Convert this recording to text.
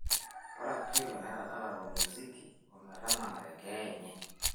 ore apa ilo netadale olmusiki ometanang'are keeya enye